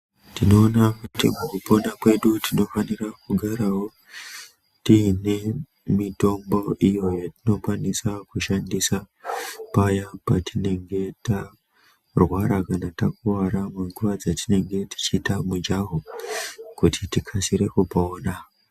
Tinoona kuti mukupona kwedu tinofanira kugarawo tiine mitombo iyo yatinokwanisa kushandisa paya patinenge tarwara kana takuwara panguwa dzatinenge tichiita mujaho kuti tikasire kupona.